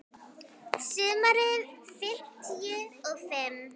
Sumarið fimmtíu og fimm.